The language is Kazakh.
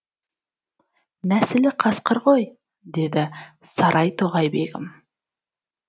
нәсілі қасқыр ғой деді сарай тоғай бегім